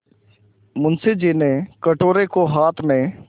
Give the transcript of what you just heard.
मुंशी जी ने कटोरे को हाथ में